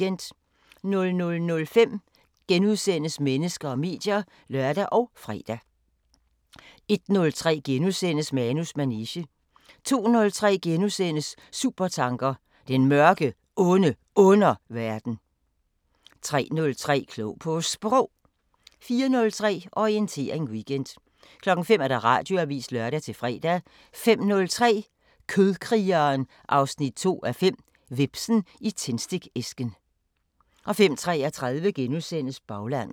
00:05: Mennesker og medier *(lør og fre) 01:03: Manus manege * 02:03: Supertanker: Den Mørke, Onde Underverden * 03:03: Klog på Sprog 04:03: Orientering Weekend 05:00: Radioavisen (lør-fre) 05:03: Kødkrigen 2:5 – Hvepsen i tændstikæsken 05:33: Baglandet *